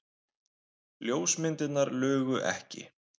Ljósmyndirnar lugu ekki.